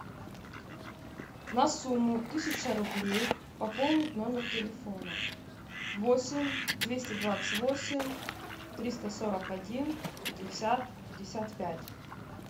на сумму тысяча рублей пополнить номер телефона восемь двести двадцать восемь триста сорок один пятьдесят пятьдесят пять